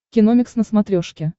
киномикс на смотрешке